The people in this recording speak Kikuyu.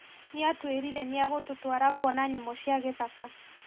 Nĩatũĩrĩire nĩagatũtwara kuona nyamũ cia gĩthaka